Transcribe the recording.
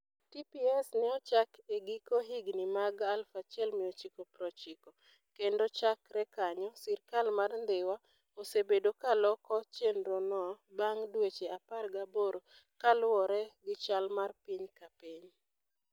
TPS ne ochak e giko higini mag 1990, kendo chakre kanyo, sirkal mar Dhiwa osebedo ka loko chenrono bang' dweche 18 kaluwore gi chal mar piny ka piny.